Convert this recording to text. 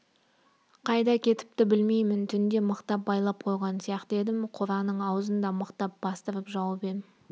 қайда кетіпті білмеймін түнде мықтап байлап қойған сияқты едім қораның аузын да мықтап бастырып жауып ем